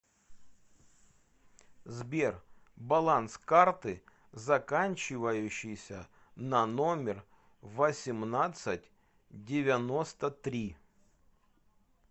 сбер баланс карты заканчивающейся на номер восемнадцать девяносто три